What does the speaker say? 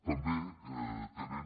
també tenen